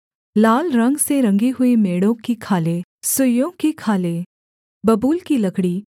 लाल रंग से रंगी हुई मेढ़ों की खालें सुइसों की खालें बबूल की लकड़ी